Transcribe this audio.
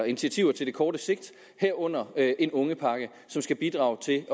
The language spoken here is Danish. initiativer til det korte sigt herunder en ungepakke som skal bidrage til